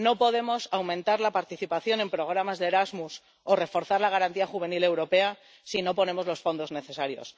no podemos aumentar la participación en programas como Erasmus o reforzar la Garantía Juvenil europea si no ponemos los fondos necesarios